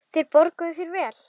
Þeir borguðu þér vel.